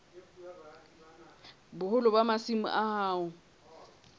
boholo ba masimo a hao